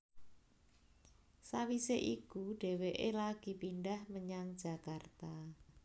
Sawisé iku dhéwéké lagi pindhah menyang Jakarta